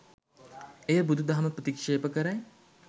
එය බුදුදහම ප්‍රතික්ෂේප කරයි.